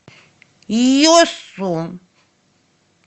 йосу